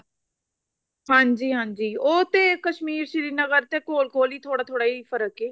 ਹਾਂਜੀ ਹਾਂਜੀ ਉਹ ਤੇ ਕਸ਼ਮੀਰ ਸ਼੍ਰੀ ਨਗਰ ਤੇ ਕੋਲ ਕੋਲ ਥੋੜਾ ਥੋੜਾ ਹੀ ਫਰਕ ਹੈ